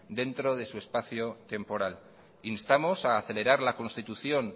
dentro de su espacio temporal instamos a acelerar la constitución